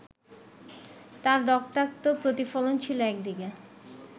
তার রক্তাক্ত প্রতিফলন ছিল একদিকে